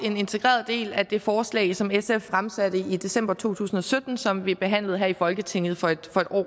en integreret del af det forslag som sf fremsatte i december to tusind og sytten og som vi behandlede her i folketinget for et